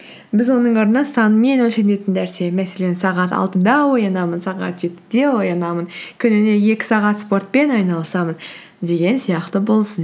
біз оның орнына санмен өлшенетін нәрсені мәселен сағат алтыда оянамын сағат жетіде оянамын күніне екі сағат спортпен айналысамын деген сияқты болсын